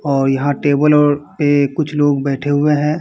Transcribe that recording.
और यहाँ टेबल और ये कुछ लोग बैठे हुए हैं।